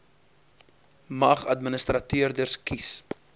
mag administrateurders kies